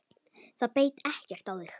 Það beit ekkert á þig.